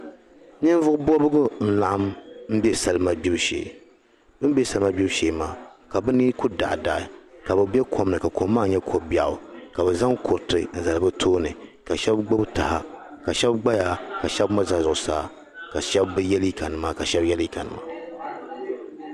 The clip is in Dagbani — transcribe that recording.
Ninvuɣu bɔbigu n laɣim be salima gbebu shee bɛ ni be salima gbibu shee maa ka bɛ ni kuli daɣi daɣi ka bɛ be kom ni ka kom maa nyɛ ko biɛɣu biɛɣu ka bɛ zaŋ kuriti n zali bɛ tooni ka shɛb gbubi taha ka shɛb gbaya ka shɛb mi za zuɣu saa ka shɛb bi ye liiga nima ka shɛb ye liiga nima